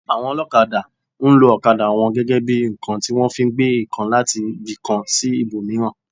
Àwọn olokada, nlo okada wọn gẹ́gẹ́ bí ǹkan tí wọ́n fi ń gbé ǹkan láti ibi kan sí ibò míràn